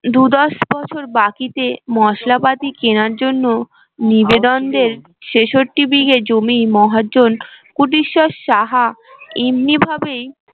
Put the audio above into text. দু দশ বছর বাকি চেয়ে মশলা পাতি কেনার জন্য নিবেদন দের সেসট্টি বিঘে জমি মহাজন কুটিশ্বর সাহা এমনি ভাবেই